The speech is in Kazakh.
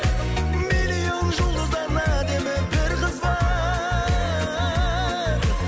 миллион жұлдыздан әдемі бір қыз бар